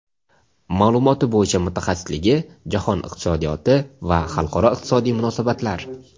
Ma’lumoti bo‘yicha mutaxassisligi Jahon iqtisodiyoti va xalqaro iqtisodiy munosabatlar.